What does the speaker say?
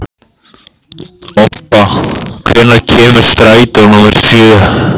Obba, hvenær kemur strætó númer sjö?